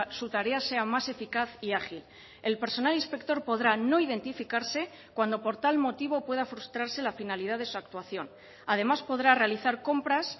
su tarea sea más eficaz y ágil el personal inspector podrá no identificarse cuando por tal motivo pueda frustrarse la finalidad de su actuación además podrá realizar compras